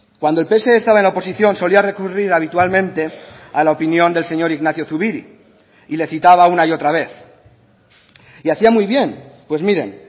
cuando el pse estaba en la oposición solía recurrir habitualmente a la opinión del señor ignacio zubiri y le citaba una y otra vez y hacía muy bien pues miren